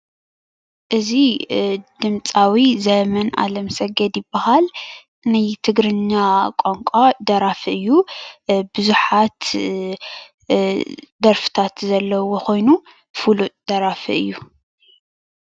እዚ ድምፃዊ ዘመን ኣለም ሰገድ ይበሃል:: ናይ ትግርኛ ቋንቋ ደራፊ እዩ። ብዙሓት ደርፍታት ዘለውዎ ኮይኑ ፍሉጥ ደራፊ እዩ።